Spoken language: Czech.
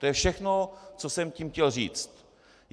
To je všechno, co jsem tím chtěl říct.